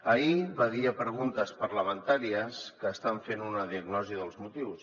ahir va dir a preguntes parlamentàries que estan fent una diagnosi dels motius